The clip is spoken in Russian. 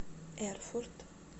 эрфурт